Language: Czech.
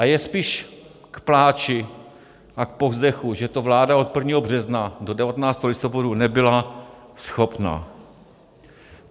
A je spíše k pláči a k povzdechu, že toho vláda od 1. března do 19. listopadu nebyla schopna.